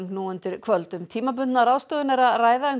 nú undir kvöld um tímabundna ráðstöfun er að ræða en